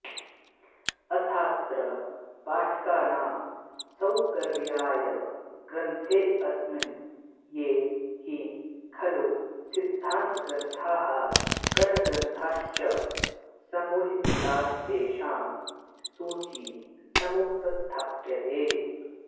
अथाऽत्र पाठकानां सौकर्याय ग्रन्थेऽस्मिन् ये हि खलू सिद्धान्तग्रन्थाः करणग्रन्थाश्च समुल्लिखितास्तेषां सूची समुपस्थाप्यते